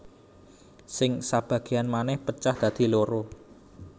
Sing sabagéyan manèh pecah dadi loro